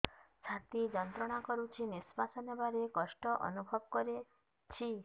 ଛାତି ଯନ୍ତ୍ରଣା କରୁଛି ନିଶ୍ୱାସ ନେବାରେ କଷ୍ଟ ଅନୁଭବ କରୁଛି